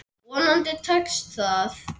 Vonandi tekst það.